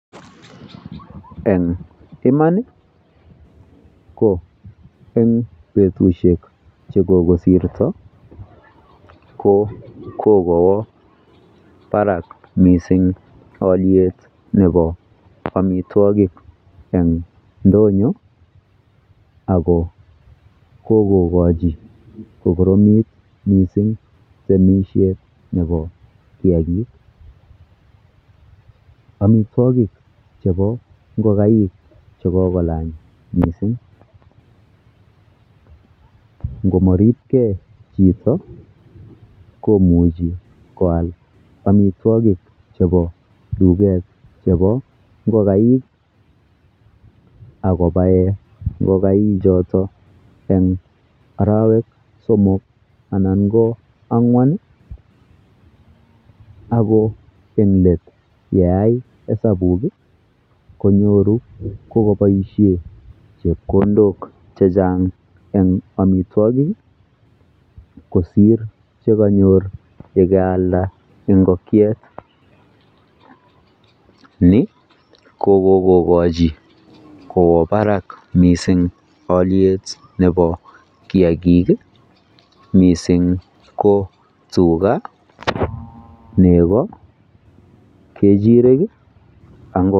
en imaan iih ko en betushek chegokosirto ko kogowaa baraak mising olyeet nebo omitwogik en ndonyo ago kogogochi kogoromiit mising temishet nebo kiagiik, omitwogik chebo ngogaik ko kogolaany mising, ngomaribgee chito komuche koaal omitwogik chebo tugeet chebo ngongaik ak kobaeen ngogaik choton en oroweek somok anan ko angwaan ago en leet yeaa esabuuk iih konyoru kogoboishen chepkondook chechang en omitwogik iih kosiir chegonyoor yegaalda ingokyeet, ni ko kogogochi kwo baraak mising olyeet nebo kiagiik iih mising ko tuga, nego, kechireek ak ngo,,